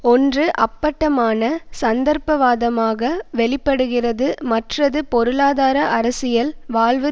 ஒன்று அப்பட்டமான சந்தர்ப்பவாதமாக வெளி படுகிறது மற்றது பொருளாதார அரசியல் வாழ்வு